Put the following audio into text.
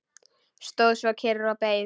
Stóð svo kyrr og beið.